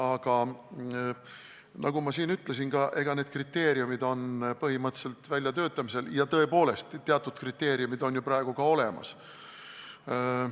Aga nagu ma siin ütlesin, on need kriteeriumid põhimõtteliselt väljatöötamisel ja tõepoolest, teatud kriteeriumid on ju praegu ka olemas.